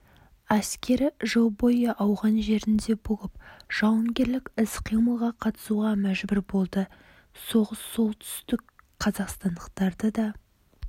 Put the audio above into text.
әскері жыл бойы ауған жерінде болып жауынгерлік іс қимылға қатысуға мәжбүр болды соғыс солтүстікқазақстандықтарды да